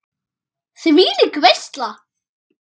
Þvílík veisla.